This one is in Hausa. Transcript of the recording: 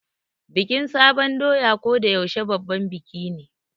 Bikin sabon doya ko da yaushe babban biki ne.